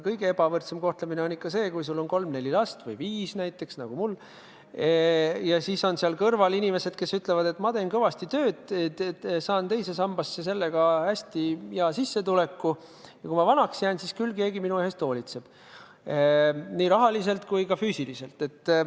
Kõige ebavõrdsem kohtlemine on see, et sul on kolm-neli last – või viis, nagu näiteks mul –, ja samas kõrval on lasteta inimesed, kes ütlevad, et ma teen kõvasti tööd, maksan teise sambasse sel moel hästi kõva sissetuleku, aga kui ma vanaks jään, siis küll keegi minu eest hoolitseb nii rahaliselt kui ka füüsiliselt.